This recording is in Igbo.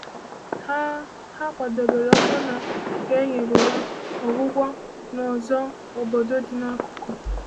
Ha Ha kwadebere ọbụna ka e nyere ya ọgwụgwọ n’ọzọ obodo dị n’akụkụ.